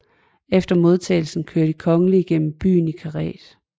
Efter modtagelsen kører de kongelige gennem byen i karet